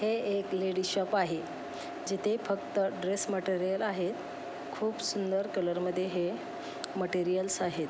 हे एक ladies shop आहे जिथे फक्त ड्रेस मटेरियल आहेत खूप सुंदर कलर मध्ये हे माटेरियल्स आहेत.